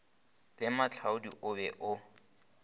le moahlodi o be o